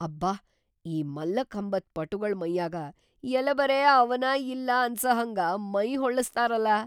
ಅಬ್ಬಾ, ಈ ಮಲ್ಲಖಂಬದ್‌ ಪಟುಗಳ್‌ ಮೈಯಾಗ ಯೆಲಬರೇ ಅವನಾ ಇಲ್ಲಾ ಅನ್ಸಹಂಗ ಮೈಹೊಳ್ಳಸ್ತಾರಲಾ.